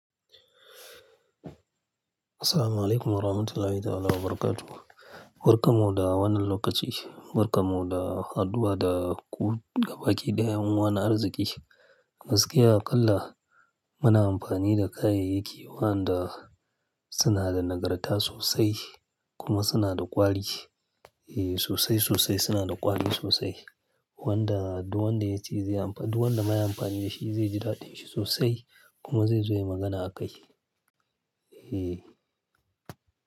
Assalamualaikum warahmatullahi ta'ala wabarakatuh. Barka mu da wannan lokaci, barka mu da haduwa da ku da baki dayan mu wani arziki. Gaskiya aƙalla muna amfani da kayayyaki waɗanda suna da nagarta sosai kuma suna da kwali. Eh sosai sosai suna da kwali sosai wanda duk wanda ya ci zai amfa, duk wanda ya yi amfani da shi zai ji daɗin shi sosai kuma zai zo ya magana a kai. Eh.